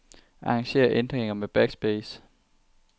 Arranger ændringer med backspace.